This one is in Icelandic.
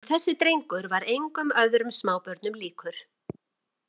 En þessi drengur var engum öðrum smábörnum líkur.